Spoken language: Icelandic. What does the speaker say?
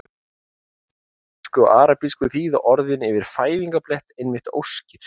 Á ítölsku og arabísku þýða orðin yfir fæðingarblett einmitt óskir.